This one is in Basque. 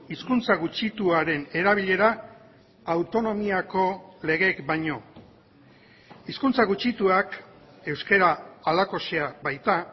hizkuntza gutxituaren erabilera autonomiako legeek baino hizkuntza gutxituak euskara halakoxea baita